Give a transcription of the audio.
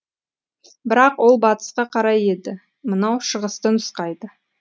бірақ ол батысқа қарай еді мынау шығысты нұсқайды